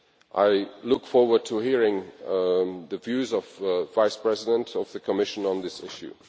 I look forward to hearing the views of the Vice President of the Commission on this issue.